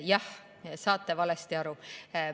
Jah, saate valesti aru.